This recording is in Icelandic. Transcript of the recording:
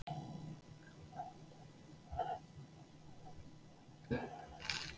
Hann var mjúkur eins og feldurinn á Týra.